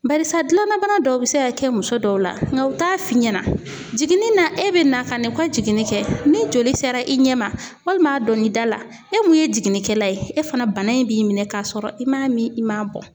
Barisa gilanabana dɔw bɛ se ka kɛ muso dɔw la nga u t'a f'i ɲɛna jiginni na e bɛ na ka na u ka jiginni kɛ ni joli sera i ɲɛ ma walima a donna i da la e mun ye jiginnikɛla ye e fana bana in b'i minɛn k'a sɔrɔ i m'a min i m'a bɔn.